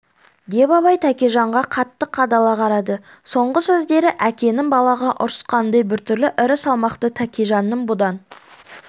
деп абай тәкежанға қатты қадала қарады соңғы сөздері әкенің балаға ұрысқанындай біртүрлі ірі салмақты тәкежанның бұдан